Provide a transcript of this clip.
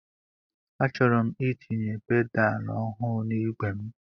Achọrọ m itinye pedaal ọhụụ na-igwe m.